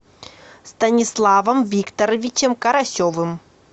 станиславом викторовичем карасевым